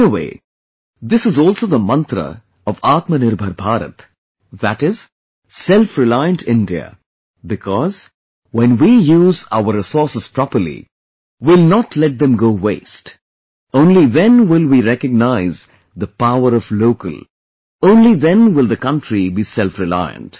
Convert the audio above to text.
In a way, this is also the mantra of Atma Nirbhar Bharat that is selfreliant India, because, when we use our resources properly, we will not let them go waste, only then will we recognize the power of local, only then will the country be selfreliant